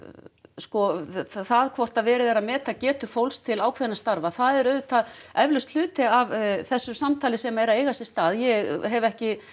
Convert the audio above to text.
sko það hvort að verið er að meta getu fólks til ákveðinna starfa það er auðvitað eflaust hluti af þessu samtali sem er að eiga sér stað ég hef ekki